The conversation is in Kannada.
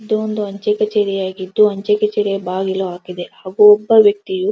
ಇದು ಒಂದು ಅಂಚೆಕಚೇರಿಯಾಗಿದ್ದುಅಂಚೆ ಕಚೇರಿಯ ಬಾಗಿಲು ಆಗಿದೆ ಹಾಗೆ ಒಬ್ಬ ವೆಕ್ತಿಯು --